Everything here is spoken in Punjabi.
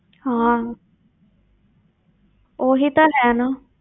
ਹਾਂ ਉਹੀ ਤਾਂ ਹੈ ਨਾ।